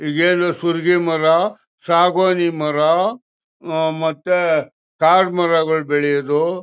ಈಗೇನು ಸುರಿಗೆ ಮರ ಸಾಗುವಾನಿ ಮರ ಹ್ಮ್ ಮತ್ತೆ ಕಾಡು ಮರಗಳು ಬೆಳೆಯೋದು--